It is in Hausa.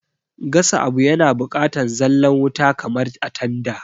Gasa abu yana bukatan zalla wuta kamar a tanda